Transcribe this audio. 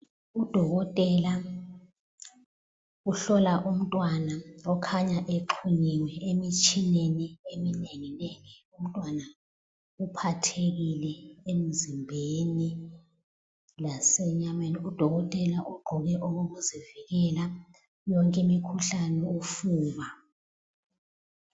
Udokotela uhlola umntwana okhanya exhunyiwe emitshineni eminenginengi. Umntwana uphathekile emzimbeni lasenyameni. Udokotela ugqoke okokuzivikela yonke imikhuhlane ofuba.